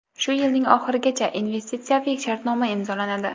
Shu yilning oxirigacha investitsiyaviy shartnoma imzolanadi.